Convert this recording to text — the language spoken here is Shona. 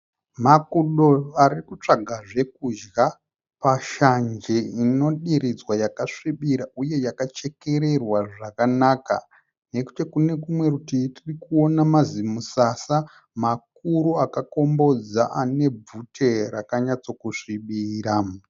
Makudo arikutsvaga zvokudya pashanje inodiridzwa yakasvibira uye yakachekererwa zvakanaka. Nekuti kune rumwe rutivi tirikuona mazimusasa makuru akakombodza ane bvute raka nyatso kusvibira.